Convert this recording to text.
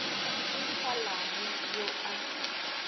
di sa langwe yo a